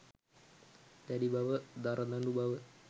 දැඩි බව, දරදඬු බව